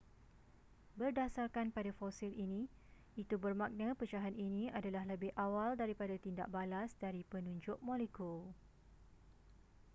berdasarkan pada fosil ini itu bermakna pecahan ini adalah lebih awal daripada tindak balas dari penunjuk molekul